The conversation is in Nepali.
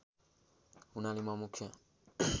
हुनाले म मुख्य